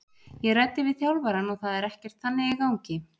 Ég ræddi við þjálfarann og það er ekkert þannig í gangi.